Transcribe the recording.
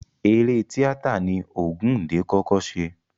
Eré tíátà ni Ògúndé kọ́kọ́ ṣe.